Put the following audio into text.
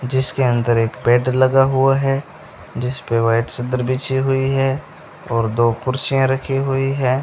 जिसके अंदर एक बैड लगा हुआ है जिसपे व्हाइट चद्दर बिछी हुई है और दो कुर्सियां रखी हुई है।